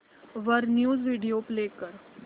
वर news video play कर